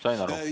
Sain aru.